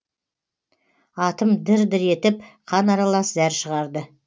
атым дір дір етіп қан аралас зәр шығарды